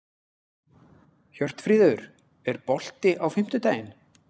Hjörtfríður, er bolti á fimmtudaginn?